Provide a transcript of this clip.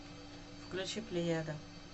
включи плеяда